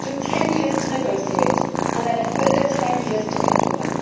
took 10 years to negotiate and then a further 10 years to implement.